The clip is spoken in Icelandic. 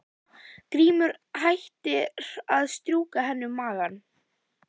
Grímur hættir að strjúka henni um magann.